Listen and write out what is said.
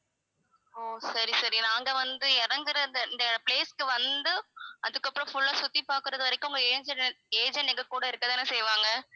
ஓ சரி சரி நாங்க வந்து இறங்குற இந்த இந்த place க்கு வந்து அதுக்கப்புறம் full ஆ சுத்தி பாக்குறது வரைக்கும் உங்க agent எங்~ agent எங்க கூட இருக்க தான செய்வாங்க